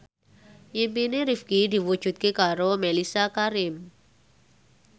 impine Rifqi diwujudke karo Mellisa Karim